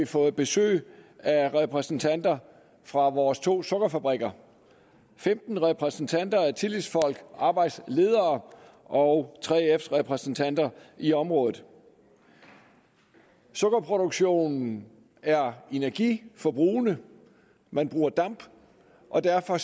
fået besøg af repræsentanter fra vores to sukkerfabrikker femten repræsentanter af tillidsfolk arbejdsledere og 3fs repræsentanter i området sukkerproduktionen er energiforbrugende man bruger damp og derfor